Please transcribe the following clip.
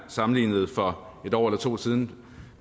sammenlignede for et år eller to siden